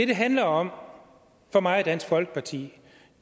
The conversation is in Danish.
det handler om for mig og dansk folkeparti